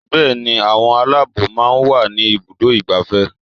Bẹẹni, àwọn Aláàbòò máa ń wà ní ibùdó igbàfẹ́.